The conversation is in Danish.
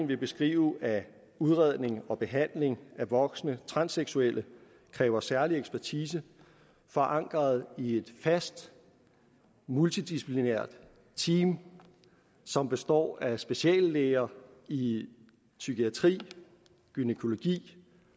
vil beskrive at udredning og behandling af voksne transseksuelle kræver særlig ekspertise forankret i et fast multidisciplinært team som består af speciallæger i psykiatri gynækologi